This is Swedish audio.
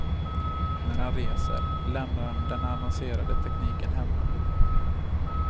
När han reser lämnar han den avancerade tekniken hemma.